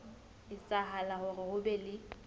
etsahala hore ho be le